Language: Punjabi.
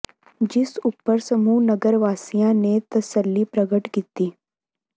ਜਿਸ ਉਪਰ ਸਮੂਹ ਨਗਰ ਵਾਸੀਆਂ ਨੇ ਤਸੱਲੀ ਪ੍ਰਗਟ ਕੀਤੀ